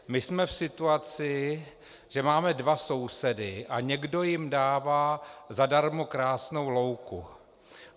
My jsme v situaci, že máme dva sousedy a někdo jim dává zadarmo krásnou louku.